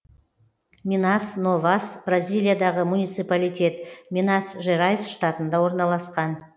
минас новас бразилиядағы муниципалитет минас жерайс штатында орналасқан